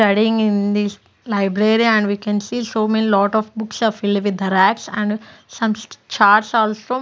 studying in this library and we can see so many lot of books are fill with racks and some charts also --